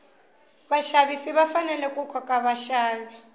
vaxavisi va fanele ku koka vaxavi